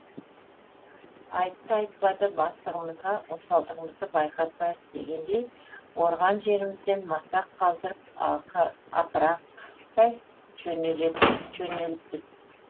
айтты айтпады бастығымызға осалдығымызды байқатпайық дегендей орған жерімізден масақ қалдырып апырақтай жөнеліппіз